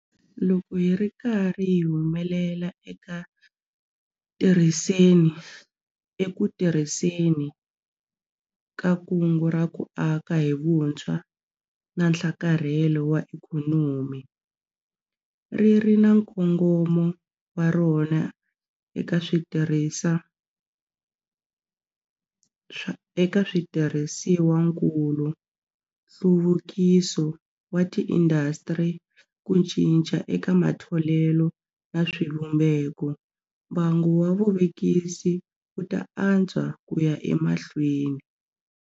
Loko hi ri karhi hi humelela eku tirhiseni ka Kungu ra ku Aka hi Vutshwa na Nhlakarhelo wa Ikhonomi - ri ri na nkongomo wa rona eka switirhisiwakulu, nhluvukiso wa tiindasitiri, ku cinca eka matholelo na swivumbeko - mbangu wa vuvekisi wu ta antswa ku ya emahlweni.